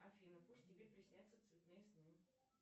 афина пусть тебе приснятся цветные сны